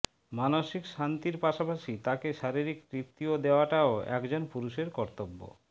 মানসিক শান্তির পাশাপাশি তাকে শারীরিক তৃপ্তিও দেওয়াটাও একজন পুরুষের কতর্ব্য